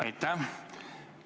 Aitäh!